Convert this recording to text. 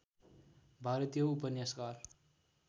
भारतीय उपन्यासकार